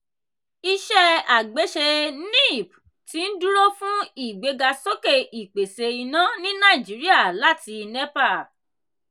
iṣẹ́ àgbéṣe nipp ti ń dúró fún ìgbéga sókè ìpèsè iná ní nàìjíríà láti nepa.